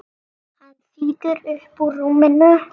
Hann þýtur upp úr rúminu.